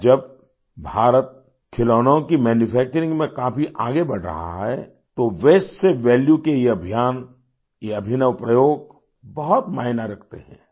आज जब भारत खिलौनों की मैन्यूफैक्चरिंग में काफी आगे बढ़ रहा है तो वास्ते से वैल्यू के ये अभियान ये अभिनव प्रयोग बहुत मायना रखते हैं